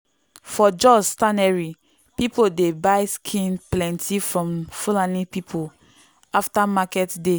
for jos tannery people dey buy skin plenty from fulani people after market day.